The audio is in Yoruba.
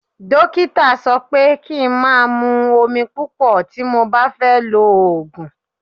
Dókítà sọ pé kí n máa mú omi púpọ̀ tí mo bá fẹ́ lo òògùn.